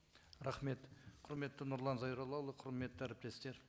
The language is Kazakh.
рахмет құрметті нұрлан зайроллаұлы құрметті әріптестер